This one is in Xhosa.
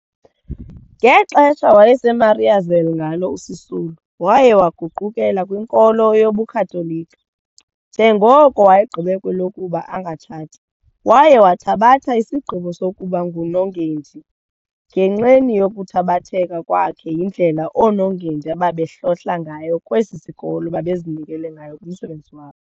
Ngexesha wayeseMariazelle ngalo uSisulu, waye waguqukela kwinkolo yobuKatoliki, njengoko wayegqibe kwelokuba angatshati, waye wathabatha isigqibo sokuba ngunongendi ngenxeni yokuthabatheka kwakhe yindlela oonongendi ababehlohla ngayo kwesi sikolo babezinikele ngayo kumsebenzi wabo.